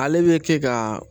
Ale bɛ kɛ ka